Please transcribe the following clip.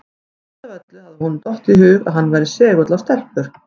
Síst af öllu hafði honum dottið í hug að hann væri segull á stelpur!